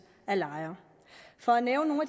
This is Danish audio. af lejere for at nævne